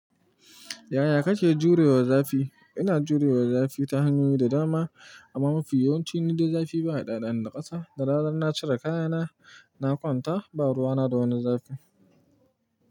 Yaya kake jurewa zafi? Ina jurewa zafi ta hanyoyi da dama amma mafi yawanci nidai zafi baya ɗaɗa ni da kasa. Da rana in na cire kayana, na kwanta ba ruwana da wani zafi.